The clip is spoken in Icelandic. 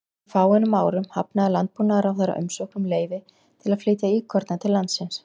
Fyrir fáeinum árum hafnaði landbúnaðarráðherra umsókn um leyfi til að flytja íkorna til landsins.